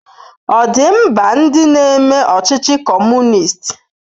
Ọ̀ dị mba ndị na-eme ọchịchị Kọmunist?